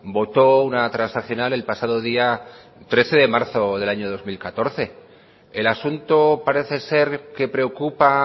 votó una transaccional el pasado día trece de marzo del año dos mil catorce el asunto parece ser que preocupa